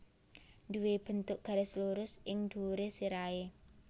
Nduwé bentuk garis lurus ing dhuwuré sirahé